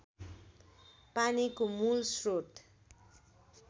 पानीको मूल श्रोत